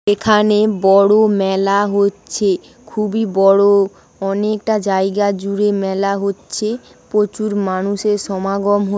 নে- বড়ো মেলা হচ্ছেখুবই বড়ো অনেকটা জায়গা জুড়ে মেলা হচ্ছে প্রচুর মানুষের সমাগম হয়েছে।